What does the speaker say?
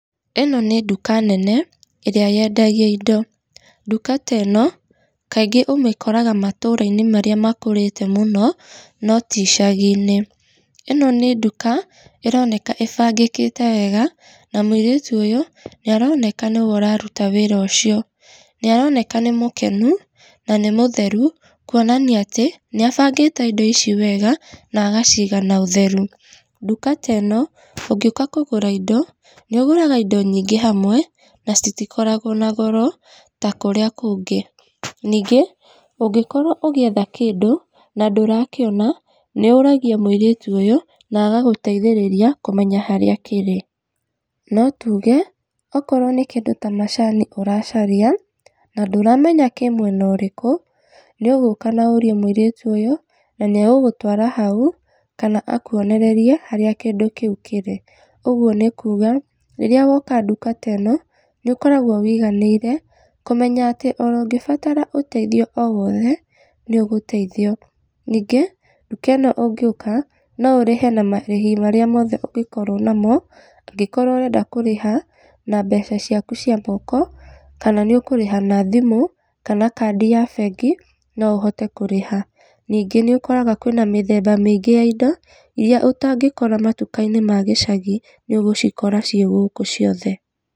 ĩno nĩ nduka nene ĩrĩa yendagia indo, nduka ta ĩno kaingĩ ũmĩkoraga matũra-inĩ maría makũrĩte mũno no ti icagi-inĩ. ĩno nĩ nduka ĩroneka ĩbangĩkĩte wega, na mũirĩtu ũyũ nĩaroneka nĩwe ũraruta wĩra ũcio, nĩaroneka nĩ mũkenu na nĩ mũtheru kuonania atĩ nĩ abangĩte indo ici wega na agaciiga na ũtheru. Nduka ta ĩno ũngĩũka kũgũra indo nĩũgũraga indo nyingĩ hamwe na citikoragwo na goro ta kũrĩa kũngĩ, ningĩ ũngĩkorwo ũgĩetha kĩndũ na ndũrakĩona nĩ ũragia mũirĩtu ũyũ na agagũteithĩrĩria kũmenya harĩa kĩrĩ. No tuge okorwo nĩ kĩndũ ta macani ũracaria na ndũramenya kĩ mwena ũrĩkũ nĩũgũka na ũrie mũirĩtu ũyũ na nĩ agũgũtwara haũ kana akuonererie harĩa kĩndũ kĩu kĩrĩ, ũguo nĩ kuga rĩrĩa woka nduka ta ĩno, nĩũkoragwo wĩiganĩire kũmenya atĩ ona ũngĩbatara ũteithio o wothe nĩ ũgũteithio. Ningĩ nduka ĩno ũngĩũka no ũrĩhe na marĩhi marĩa mothe ũngĩkorwo namo, ũngĩkorwo ũrenda kũrĩha na mbeca ciaku cia moko kana nĩũkũrĩha na thimũ kana kandi ya bengi no ũhote kũrĩha. Ningĩ nĩũkoraga kwĩna mĩthemba mĩingĩ ya indo iria ũtangĩkora matuka-inĩ ma gĩcagi nĩũgũcikora cĩĩ gũkũ ciothe.